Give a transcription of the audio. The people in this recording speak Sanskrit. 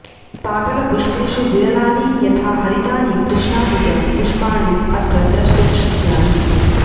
पाटलपुष्पेषु विरलानि यथा हरितानि कृष्णानि च पुष्पाणि अत्र द्रष्टुं शक्यानि